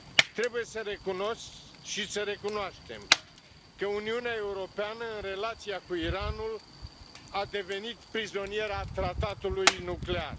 Trebuie să recunosc și să recunoaștem că Uniunea Europeană, în relația cu Iranul, a devenit prizoniera tratatului nuclear.